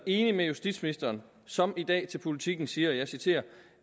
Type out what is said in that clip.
enig med justitsministeren som i dag til politiken siger og jeg citerer